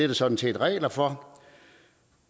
der sådan set regler for